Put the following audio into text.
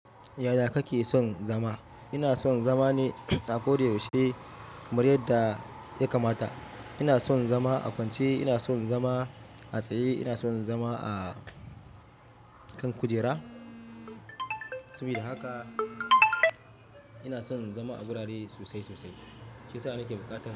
Yaya kake son zama? Ina son zama ne a ko da yaushe, kamar yadda ya kamata. Ina son zama a fance, ina son zama a tsaye, ina son zama a kan kujera. Saboda haka ina son zama a wurare sosai sosai. Shi sa ni ke buƙatar.